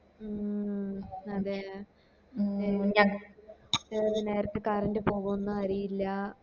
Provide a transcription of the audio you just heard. മ് അതെ മ് ഏത് നേരത്ത് കരണ്ട് പോകും ന്ന് അറിയില്ല